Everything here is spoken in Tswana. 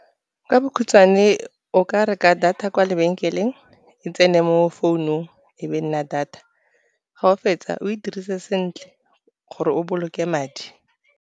Ka bokhutshwane o ka reka data kwa lebenkeleng, e tsene mo founung e be nna data, ga o fetsa o e dirise sentle gore o boloke madi.